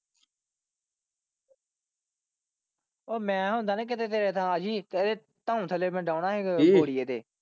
ਉਹ ਮੈ ਹੁੰਦਾ ਨਾ ਕੀਤੇ ਤੇਰੇ ਥਾਂ ਆਜੀਂ ਇਹਦੀ ਧੋਣ ਥੱਲੇ ਮੈਂ ਡੌਣਾ ਸੀ ਕੀ।